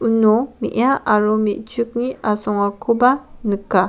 uno me·a aro me·chikni asongakoba nika.